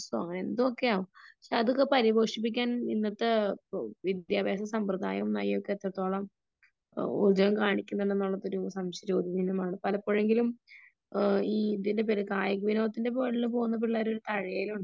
എന്തെക്കയോ ആവാം പക്ഷേ അതൊക്കെ പരിപോഷിപ്പിക്കാൻ ഇന്നത്തെ വിദ്യാഭ്യാസ സെംബ്രദായം വഴി എത്രത്തോളം ഉതകം കാണിക്കുന്നുണ്ട് എന്ന് എത്രത്തോളം സംശയ ചോദ്യ ചിഹ്നനമാണ് പലപ്പോഴെങ്കിലും ഈ ഇതിന്റെ പേരിൽ കായിക വിനോദത്തിന്റെ പേരിൽ പോകുന്ന പിള്ളേരെ ഒരു തഴയലുണ്ട് .